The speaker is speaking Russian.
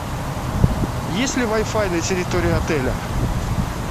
есть ли вай фай на территории отеля